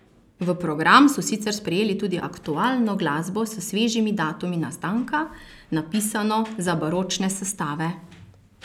V program so sicer sprejeli tudi aktualno glasbo s svežimi datumi nastanka, napisano za baročne sestave.